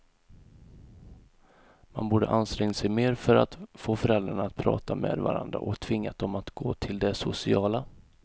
Man borde ansträngt sig mer för att få föräldrarna att prata med varandra och tvingat dem att gå till det sociala.